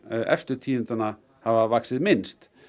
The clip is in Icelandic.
efstu tíundanna hafa vaxið minnst